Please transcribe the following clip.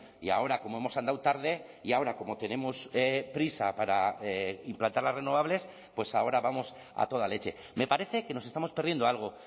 y ahora como hemos andado tarde y ahora como tenemos prisa para implantar las renovables pues ahora vamos a toda leche me parece que nos estamos perdiendo algo